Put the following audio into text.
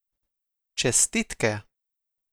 Čestitke!